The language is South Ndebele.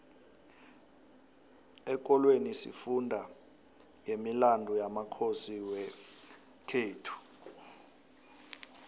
exholweni sifunda nqemilandu yamakhosi wekhethu